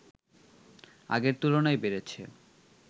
আগের তুলনায় বেড়েছে